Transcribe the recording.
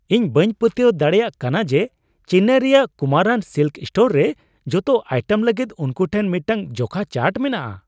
ᱤᱧ ᱵᱟᱹᱧ ᱯᱟᱹᱛᱭᱟᱹᱣ ᱫᱟᱲᱮᱭᱟᱜ ᱠᱟᱱᱟ ᱡᱮ ᱪᱮᱱᱱᱟᱭ ᱨᱮᱭᱟᱜ ᱠᱩᱢᱟᱨᱟᱱ ᱥᱤᱞᱠᱥ ᱥᱴᱳᱨ ᱨᱮ ᱡᱚᱛᱚ ᱟᱭᱴᱮᱢ ᱞᱟᱹᱜᱤᱫ ᱩᱱᱠᱩ ᱴᱷᱮᱱ ᱢᱤᱫᱴᱟᱝ ᱡᱚᱠᱷᱟ ᱪᱟᱨᱴ ᱢᱮᱱᱟᱜᱼᱟ ᱾